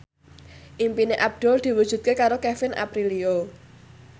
impine Abdul diwujudke karo Kevin Aprilio